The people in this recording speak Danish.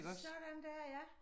Sådan dér ja